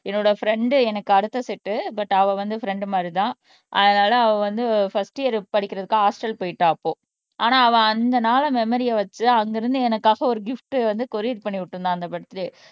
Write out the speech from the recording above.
என்னோட பிரென்ட் எனக்கு அடுத்த சேட் பட் அவ வந்து பிரென்ட் மாதிரிதான் அதனால அவள் வந்து பர்ஸ்ட் இயர் படிக்கிறதுக்கு ஹாஸ்டல் போயிட்டா அப்போ ஆனால் அவள் அந்த நாளு மெமரிய வச்சு அங்கிருந்து எனக்காக ஒரு கிப்ட் வந்து கொரியர் பண்ணி விட்டிருந்தா அந்த பர்த்டே